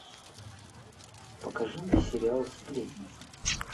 покажи мне сериал сплетница